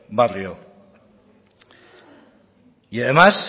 barrio y además